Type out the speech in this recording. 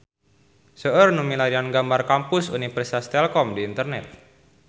Seueur nu milarian gambar Kampus Universitas Telkom di internet